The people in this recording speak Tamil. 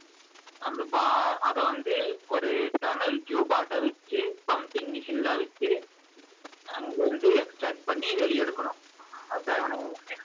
அந்த அதவந்து ஒரு டனல் tube ஆட்டம் வச்சு pumping machine லாம் வச்சு அதவந்து extract பண்ணி வெளிய எடுக்கணும் அதான்